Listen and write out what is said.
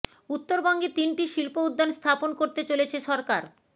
উত্তরবঙ্গে তিনটি শিল্প উদ্যান স্থাপন করতে চলেছে সরকার